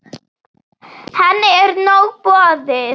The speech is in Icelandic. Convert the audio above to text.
Henni er nóg boðið.